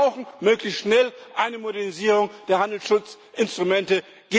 Wir brauchen möglichst schnell eine Modernisierung der Handelsschutzinstrumente.